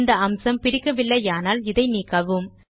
இந்த அம்சம் பிடிக்கவில்லையானால் இதை நீக்கவும்